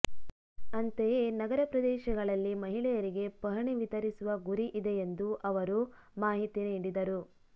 ಅಂತೆಯೇ ನಗರ ಪ್ರದೇಶಗಳಲ್ಲಿ ಮಹಿಳೆಯರಿಗೆ ಪಹಣಿ ವಿತರಿಸುವ ಗುರಿ ಇದೆ ಎಂದು ಅವರು ಮಾಹಿತಿ ನೀಡಿದರು